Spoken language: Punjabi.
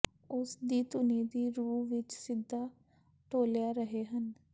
ਉਸ ਦੀ ਧੁਨੀ ਦੀ ਰੂਹ ਵਿੱਚ ਸਿੱਧਾ ਡੋਲ੍ਹਿਆ ਰਹੇ ਹਨ